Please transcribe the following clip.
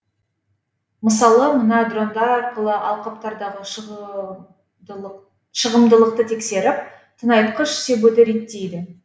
мысалы мына дрондар арқылы алқаптардағы шығымдылықты тексеріп тыңайтқыш себуді реттейді